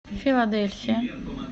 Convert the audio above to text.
филадельфия